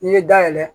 N'i ye dayɛlɛ